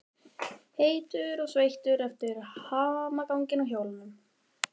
Heitur og sveittur eftir hamaganginn á hjólinu.